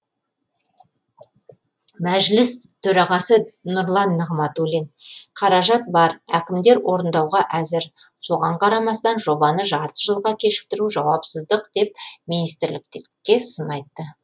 мәжіліс төрағасы нұрлан нығматулин қаражат бар әкімдер орындауға әзір соған қарамастан жобаны жарты жылға кешіктіру жауапсыздық деп министрлікке сын айтты